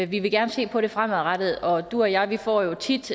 vi vil gerne se på det fremadrettet og du og jeg får jo tit